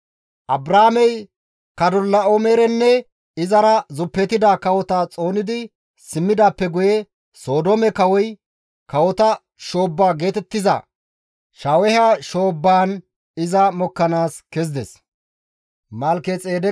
Abraamey Kadorlaa7oomerenne izara zuppetida kawota xoonidi simmidaappe guye, Sodoome kawoy, (kawota shoobba geetettiza) Shaaweha shoobbaan iza mokkanaas kezides.